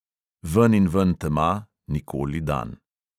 Veninven tema, nikoli dan.